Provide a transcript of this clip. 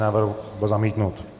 Návrh byl zamítnut.